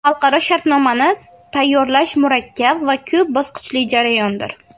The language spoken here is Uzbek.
Xalqaro shartnomani tayyorlash murakkab va ko‘p bosqichli jarayondir.